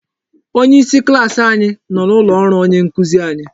Onyeisi klaasị anyị nọ n'ụlọ ọrụ onye nkuzi anyị.